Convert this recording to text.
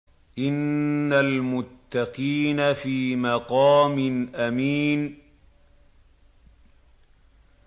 إِنَّ الْمُتَّقِينَ فِي مَقَامٍ أَمِينٍ